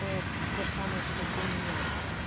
тоже самое что ты меня